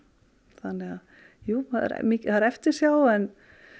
þannig að jú það er eftirsjá en